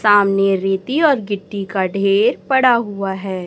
सामने रेती और गिट्टी का ढेर पड़ा हुआ है।